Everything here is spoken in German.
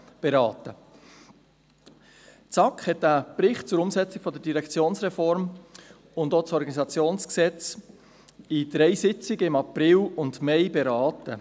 Die SAK hat einen Bericht zur Umsetzung der Direktionsreform und das Gesetz über die Organisation des Regierungsrates und der Verwaltung (Organisationsgesetz, OrG) während dreier Sitzungen im April und Mai beraten.